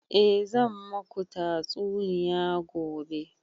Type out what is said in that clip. A zan maku tatsuniya gobe